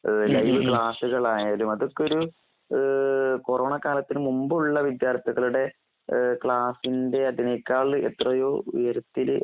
ഏഹ് ലൈവ്ക്ലാസ്സുകളായാലുഅതൊക്കെയൊരു ഏഹ് കൊറോണകാലത്ത് മുമ്പുള്ളവിദ്യാർത്ഥികളുടെ ഏഹ്ക്ലാസ്സിന്റെഅതിനേക്കാൾഎത്രയോഉയരത്തില്